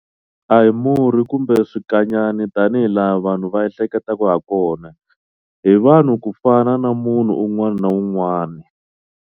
A hi murhi kumbe swikanyani tani hilaha vanhu va ehleketaka hakona. Hi vanhu ku fana na munhu un'wana na un'wana.